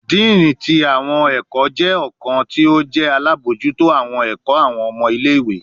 Dean ti awọn ẹkọ jẹ ọkan ti o jẹ alabojuto awọn ẹkọ awọn ọmọ ile-iwe